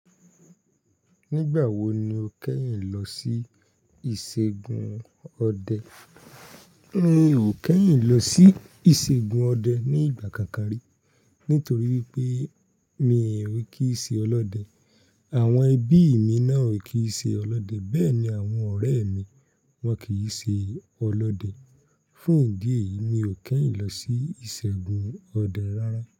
Nígbàwo ni o kẹ́yìn lọ sí ìṣègùn ọdẹ? Mi ò kẹ́yìn lọ sí ìṣègùn ọdẹ ní ìgbà káànkàn rí. Nítorí pé mi ò kí ṣe ọlọ́dẹ. Àwọn ẹbí mi náà ò kí ṣe ọlọ́dẹ, bẹ́ẹ̀ ni àwọn ọ̀rẹ́ mi, wọn kì í ṣe ọlọ́dẹ. Fún ìdí èyí, mi ò kẹ́yìn lọ sí ìṣègùn ọdẹ rárá.